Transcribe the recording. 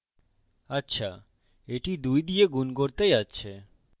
আচ্ছা এটি দুই দিয়ে গুন করতে যাচ্ছে